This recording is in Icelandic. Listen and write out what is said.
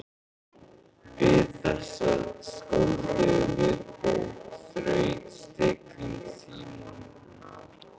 Við þessa skáldlegu viðbót þraut stilling Símonar.